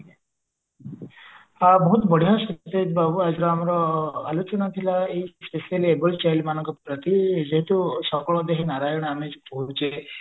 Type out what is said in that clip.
ହଁ ବହୁତ ବଢିଆ ସତେଜ ବାବୁ ଆଜିର ଆମର ଆଲୋଚନା ଥିଲା ଏଇ specially abled child ମାନଙ୍କ ପ୍ରତି ଯେହେତୁ ସକଳ ଦେହେ ନାରାୟଣ ଆମେ ଯେହେତୁ କହୁଛେ